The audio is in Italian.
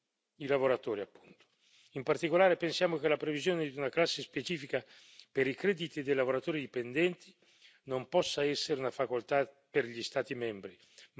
In particolare, pensiamo che la previsione di una classe specifica per i crediti dei lavoratori dipendenti non possa essere una facoltà per gli Stati membri ma debba essere obbligatorio.